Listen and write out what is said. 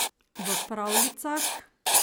V pravljicah?